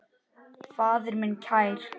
Faðir minn kær.